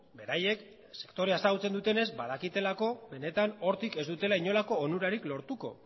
beraiek sektorea ezagutzen dutenez badakitelako benetan hortik ez dutela inolako onurarik lortuko